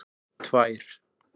tvær